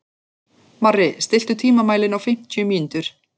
Marri, stilltu tímamælinn á fimmtíu mínútur.